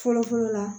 Fɔlɔ fɔlɔ la